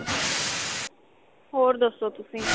ਹੋਰ ਦੱਸੋ ਤੁਸੀਂ